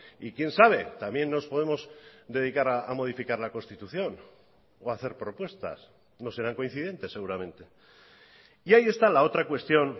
y quién sabe también nos podemos dedicar a modificar la constitución o hacer propuestas no serán coincidentes seguramente y ahí está la otra cuestión